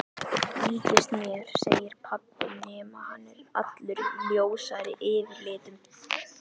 Líkist mér segir pabbi nema hann er allur ljósari yfirlitum.